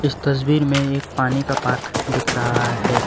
तस्वीर में एक पानी का पार्क दिख रहा है।